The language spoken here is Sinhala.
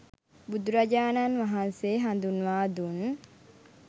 බුදුරජාණන් වහන්සේ හඳුන්වා දුන්